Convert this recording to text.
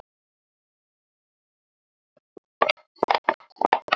En þetta slapp fyrir horn.